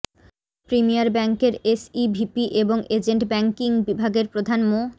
premier ব্যাংকের SEVP এবং agent banking বিভাগের প্রধান মো